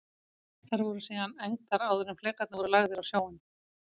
Þær voru síðan egndar áður en flekarnir voru lagðir á sjóinn.